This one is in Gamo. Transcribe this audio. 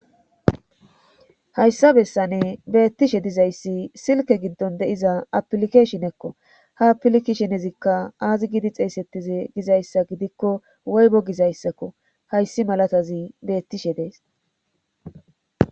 hayssa bessane beettishe dizayssi silke giddon de7iza apilikeshenekko ha aplikishenezikka aazi gidi xeesettize gizayssa gidikko woybo gizayssakko hayssi malatazi beettishe dees